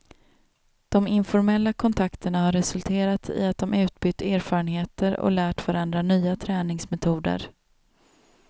De informella kontakterna har resulterat i att de utbytt erfarenheter och lärt varandra nya träningsmetoder.